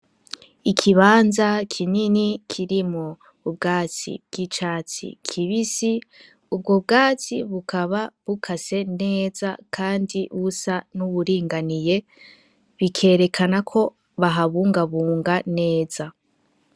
Ikibanza kinini kirimwo ubwatsi bw'icatsi kibisi ubwo bwatsi bukaba bukase neza kandi busa nuburinganiye bikerekana ko bahabungabunga neza.